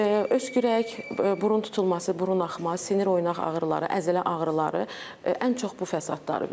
Öskürək, burun tutulması, burun axma, sinir oynaq ağrıları, əzələ ağrıları ən çox bu fəsadları verir.